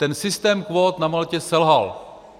Ten systém kvót na Maltě selhal.